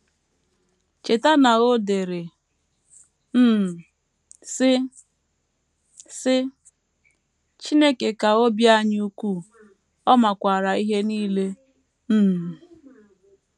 Cheta na o dere um, sị: “ sị: “ Chineke ka obi anyị ukwuu, Ọ makwaara ihe nile um. ”